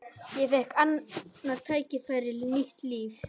Ég fékk annað tækifæri, nýtt líf.